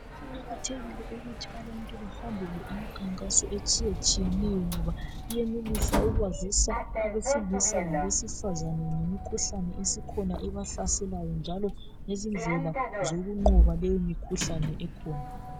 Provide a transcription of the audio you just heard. Kuqakathekile ukuthi abantu bahambele imikhankaso etshiyetshiyeneyo ngoba, iyenelisa ukwazisa abesilisa labesifazana ngemikhuhlane esikhona ebahlaselayo njalo lezindlela zokunqoba leyo mikhuhlane ekhona.